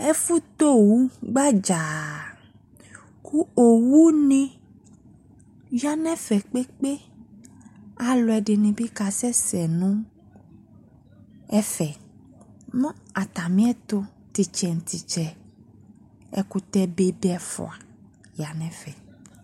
Ɛfo tɛ owu gbadzaa ko owu ne ya ni ɛfɛ kpekpe Aluɛde ne be kasɛsɛ no ɛfɛ, mo atameɛto tetsɛ no tetsɛ ekutɛbe de ɛfua ya no ɛfɛ